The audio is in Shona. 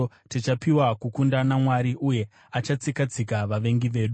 Tichapiwa kukunda naMwari, uye achatsika-tsika vavengi vedu.